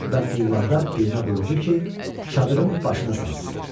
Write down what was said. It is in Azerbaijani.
və qullardan birinə buyurdu ki, çadırın başına sansın.